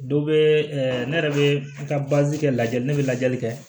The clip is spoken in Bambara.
Dɔ bɛ ne yɛrɛ bɛ n ka kɛ lajɛli ne bɛ lajɛli kɛ